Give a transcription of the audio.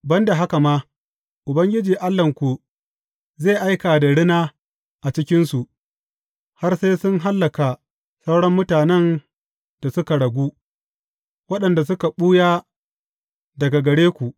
Ban da haka ma, Ubangiji Allahnku zai aika da rina a cikinsu, har sai sun hallaka sauran mutanen da suka ragu, waɗanda suka ɓuya daga gare ku.